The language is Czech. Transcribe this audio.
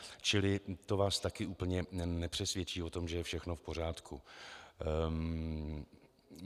Čili to vás taky úplně nepřesvědčí o tom, že je všechno v pořádku.